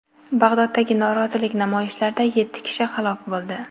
Bag‘doddagi norozilik namoyishlarida yetti kishi halok bo‘ldi.